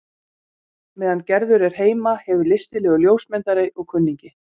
Meðan Gerður er heima hefur listilegur ljósmyndari og kunningi